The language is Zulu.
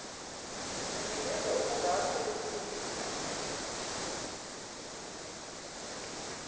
nikeza ubungako besiza